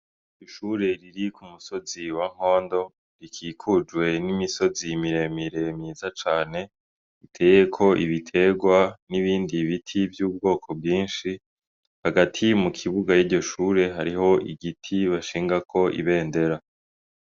Ishure riri ku musozi wa Rwondo rikikujwe n' imisozi mire mire myiza cane iteyeko ibitegwa n' ibindi biti vy' ubwoko bwinshi hagati mu kibuga yiryo shure hariho igiti bashingako ibendera.